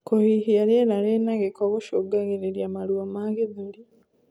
Kuhihia rĩera rina giko gucungagirirĩa maruo ma gĩthũri